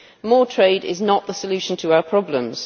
More trade is not the solution to our problems.